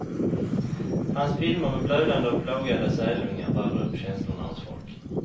Hans filmer med blödande och plågade sälungar rörde upp känslorna hos folk.